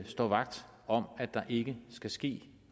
står vagt om at der ikke skal ske